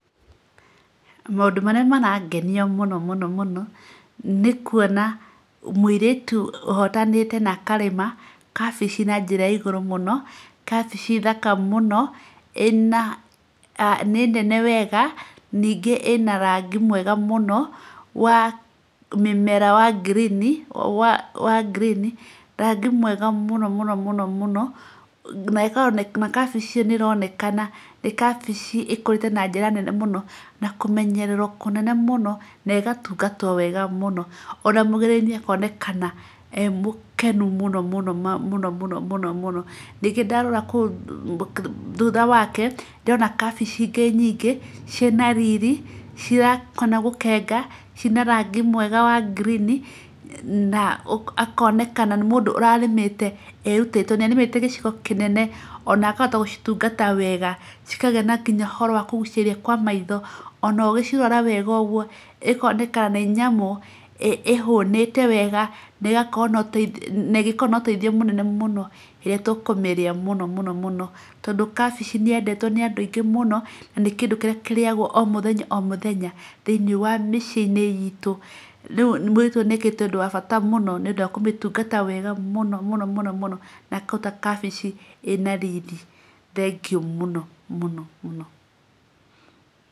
Maũndũ marĩa marangenia mũno mũno nĩ kuona mũirĩtu ũhotanĩte na akarĩma kabici na njĩra ya igũrũ mũno, kabici thaka mũno ĩna nĩ nene wega, ningĩ ĩna rangi mwega muno wa mĩmera wa green rangi mwega mũno mũno. Na kabici ĩyo nĩ ĩronekana nĩ kabici ĩkũrĩte na njĩra nene na kũmenyererwo kũnene mũno na ĩgatungatwo wega mũno. Ona mũrĩmi akonekana e mũkenu mũno. Ningĩ ndarora thutha wake ndĩrona kabici ingĩ nyingĩ, ciĩna riri, cira hana gũkenga, ciĩna rangi mwega wa green, akonekana nĩ mũndũ ũrarĩmĩte erutĩire, tondũ nĩ arĩmĩte gĩcigo kĩnene. Ona akahota gũcitungata wega, cikagĩa na nginya ũhoro wa kũgucĩrĩria kwa maitho. Ona ũgĩcirora ũguo ĩkoneka nĩ nyamũ ĩhũnĩte wega na ĩngĩkorwo na ũteithio mũnene mũno rĩrĩa tũkũmĩrĩa mũno mũno. Tondũ kabici nĩ yendetwo nĩ andũ aingĩ mũno na nĩ kĩndũ kĩrĩa kĩrĩagwo o mũthenya o mũthenya thĩiniĩ wa mĩciĩ-inĩ itu. Rĩu mũirĩtu ũyũ nĩ ekĩte ũndũ wa bata nĩ ũndũ wa kũmĩtungata wega mũno na akaruta kabici ĩna riri. Thengiũ mũno.